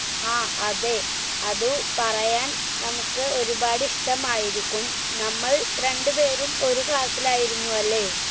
ആ അതെ അതു പറയാൻ നമുക്ക് ഒരുപാട് ഇഷ്ട്ടമായിരിക്കും നമ്മൾ രണ്ട് പേരും ഒരു class ൽ ആയിരുന്നു അല്ലെ